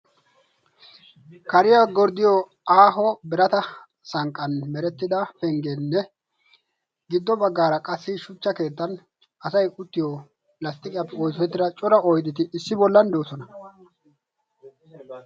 Kariyaa gorddiyo aaho birata sanqqan merettida penggeenne giddo baggaara qassi shuchcha keettan asai uttiyo lasxxiqiyaappe oosettida cora oydeti issi bollan de'osona.